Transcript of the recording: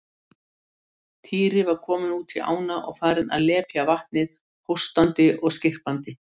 Týri var kominn út í ána og farinn að lepja vatnið hóstandi og skyrpandi.